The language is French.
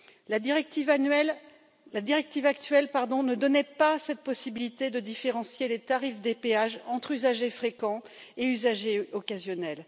La directive actuelle ne donnait pas cette possibilité de différencier les tarifs des péages entre usagers fréquents et usagers occasionnels.